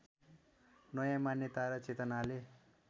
नयाँ मान्यता र चेतनाले